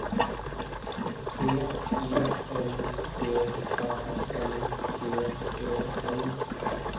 T I L G A N G E N